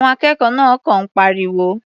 Àwọn akẹ́kọ̀ọ́ náà kọ̀ ń pariwo.